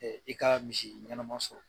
I ka misi ɲɛnɛma sɔrɔ